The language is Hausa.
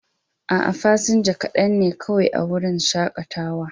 A'a, fasinja kaɗan ne kawai a wurin shakatawa.